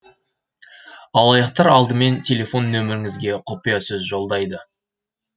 алаяқтар алдымен телефон нөміріңізге құпиясөз жолдайды